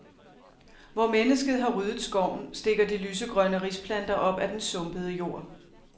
Hvor mennesket har ryddet skoven, stikker de lysegrønne risplanter op af den sumpede jord.